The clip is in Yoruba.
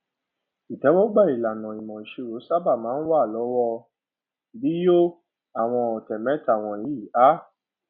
ìtẹwọgbà ìlànà ìmọ ìṣirò sáábà máa ń wà lọwọ bí yóò àwọn òté mẹta wọnyí a